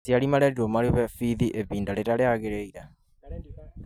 Aciari marerirwo marĩhe bithi ihinda rĩrĩa rĩagĩrĩire